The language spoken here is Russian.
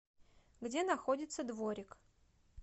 где находится дворик